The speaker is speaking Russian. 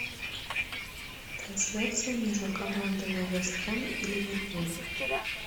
трансляция между командами вест хэм и ливерпуль